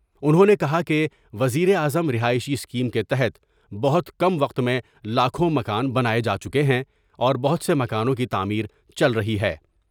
انھوں نے کہا کہ وزیر اعظم رہائشی اسکیم کے تحت بہت کم وقت میں لاکھوں مکان بنائے جا چکے ہیں اور بہت سے مکانوں کی تعمیر چل رہی ہے ۔